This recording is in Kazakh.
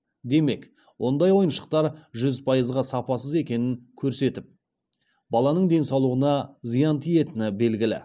демек ондай ойыншықтар жүз пайызға сапасыз екенін көрсетіп баланың денсаулығына зиян тиетіні белгілі